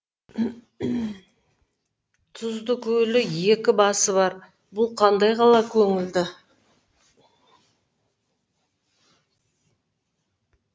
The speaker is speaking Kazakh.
тұзды көлі екі басы бар бұл қандай қала көңілді